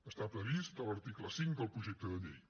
està previst a l’article cinc del projecte de llei